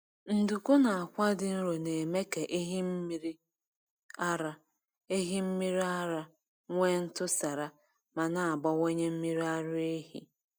Nduku na akwa dị nro na-eme ka ehi mmiri ara ehi mmiri ara nwee ntụsara ma na-abawanye mmiri ara ehi.